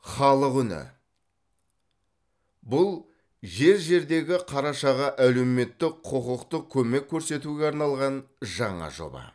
халық үні бұл жер жердегі қарашаға әлеуметтік құқықтық көмек көрсетуге арналған жаңа жоба